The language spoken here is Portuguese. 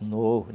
novos.